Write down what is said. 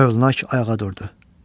Hövlnak ayağa durdu.